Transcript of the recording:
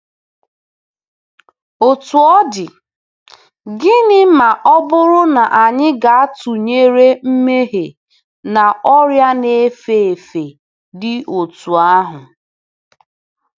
Otú ọ dị, gịnị ma ọ bụrụ na anyị ga-atụnyere mmehie na ọrịa na-efe efe dị otú ahụ?